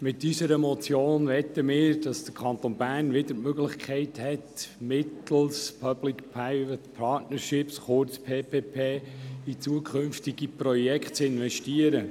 Mit unserer Motion möchten wir, dass der Kanton Bern wieder die Möglichkeit hat, mittels Public Private Partnership, kurz PPP, in zukünftige Projekte zu investieren.